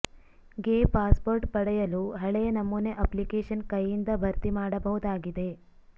ಗೆ ಪಾಸ್ಪೋರ್ಟ್ ಪಡೆಯಲು ಹಳೆಯ ನಮೂನೆ ಅಪ್ಲಿಕೇಶನ್ ಕೈಯಿಂದ ಭರ್ತಿ ಮಾಡಬಹುದಾಗಿದೆ